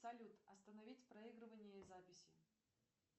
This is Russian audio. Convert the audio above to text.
салют остановить проигрывание и записи